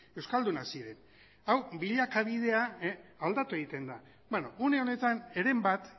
euskaldunak ziren hau bilakabidea aldatu egiten da beno une honetan heren bat